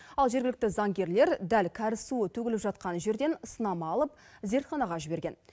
ал жергілікті заңгерлер дәл кәріз суы төгіліп жатқан жерден сынама алып зертханаға жіберген